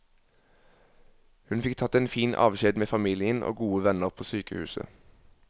Hun fikk tatt en fin avskjed med familien og gode venner på sykehuset.